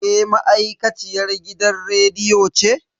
Ke ma'aikaciyar gidan rediyo ce?